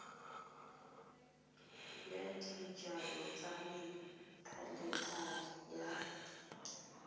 ya dijalo tsa methalethale ya